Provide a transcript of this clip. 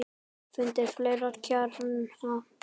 Fundið fleiri kjarna.